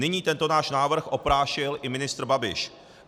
Nyní tento náš návrh oprášil i ministr Babiš.